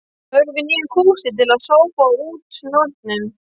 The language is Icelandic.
Þörf á nýjum kústi til að sópa út nornum.